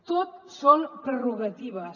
tot són prerrogatives